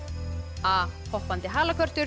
a hoppandi